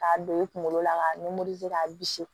K'a don i kunkolo la k'a k'a bisi